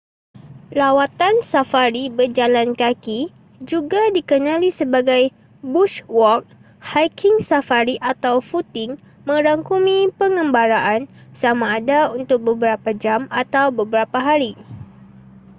lawatan safari berjalan kaki juga dikenali sebagai bush walk” hiking safari” atau footing” merangkumi pengembaraan sama ada untuk beberapa jam atau beberapa hari